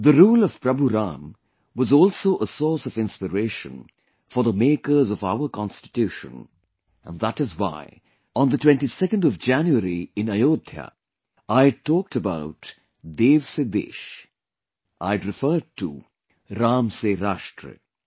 The rule of Prabhu Ram was also a source of inspiration for the makers of our Constitution and that is why on January 22 in Ayodhya, I had talked about 'Dev se Desh'... I'd referred to 'Ram se Rashtra'